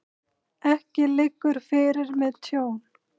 Ekki liggur fyrir með tjón